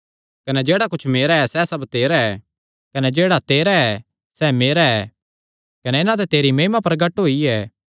कने जेह्ड़ा कुच्छ मेरा ऐ सैह़ सब तेरा ऐ कने जेह्ड़ा तेरा ऐ सैह़ मेरा ऐ कने इन्हां ते मेरी महिमा प्रगट होई ऐ